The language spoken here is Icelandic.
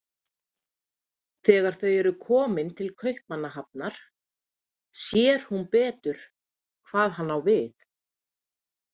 Þegar þau eru komin til Kaupmannahafnar sér hún betur hvað hann á við.